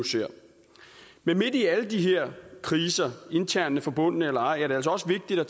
men midt i alle de her kriser internt forbundne eller ej er det altså også vigtigt at